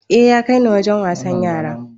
A ya kaini Wajen wasan yara